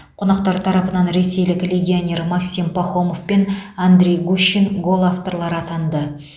қонақтар тарапынан ресейлік легионер максим пахомов пен андрей гущин гол авторлары атанды